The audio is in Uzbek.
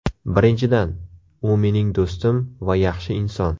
Birinchidan, u mening do‘stim va yaxshi inson.